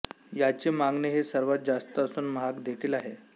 याची मागणी ही सर्वात जास्त असून महाग देखील आहे